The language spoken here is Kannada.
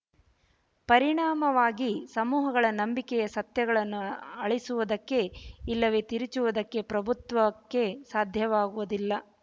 ಪರಿಣಾಮವಾಗಿ ಸಮೂಹಗಳ ನಂಬಿಕೆಯ ಸತ್ಯಗಳನ್ನು ಅಳಿಸುವುದಕ್ಕೆ ಇಲ್ಲವೇ ತಿರುಚುವುದಕ್ಕೆ ಪ್ರಭುತ್ವಕ್ಕೆ ಸಾಧ್ಯವಾಗುವುದಿಲ್ಲ